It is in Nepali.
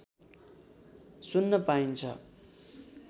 सुन्न पाइन्छ